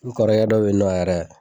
N kɔrɔkɛ dɔ bɛ ye nɔ yɛrɛ.